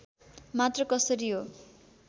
मात्र कसरी हो